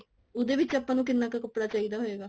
ਉਹਦੇ ਵਿੱਚ ਆਪਾਂ ਨੂੰ ਕਿੰਨਾ ਕਾ ਕੱਪੜਾ ਚਾਹਿਦਾ ਹੋਊਗਾ